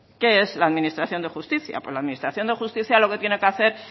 qué es la administración de justicia pues la administración de justicia lo que tiene que hacer